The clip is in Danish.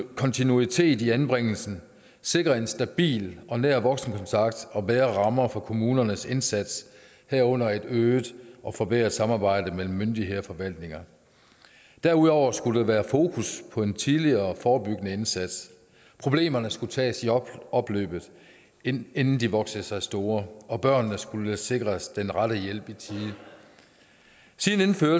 kontinuitet i anbringelsen sikre en stabil og nær voksenkontakt og bedre rammer for kommunernes indsats herunder et øget og forbedret samarbejde mellem myndigheder og forvaltninger derudover skulle der være fokus på en tidligere forebyggende indsats problemerne skulle tages i opløbet inden inden de voksede sig store og børnene skulle sikres den rette hjælp i tide